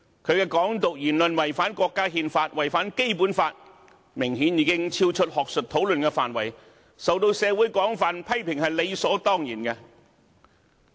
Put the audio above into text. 他的"港獨"言論違反國家憲法、違反《基本法》，明顯已經超出學術討論的範圍，受到社會廣泛批評是理所當然的。